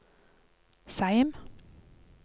Seim